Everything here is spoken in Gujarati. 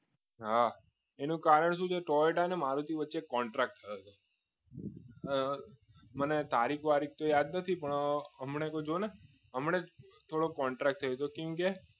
હા એનું કારણ શું છે ટોયેટા અને મારુતિ વચ્ચે કોન્ટ્રાક્ટ થયો છે મને તારીખ તો યાદ નથી હમણાં જ ને હમણાં થોડો કોન્ટ્રાક્ટ થયો છે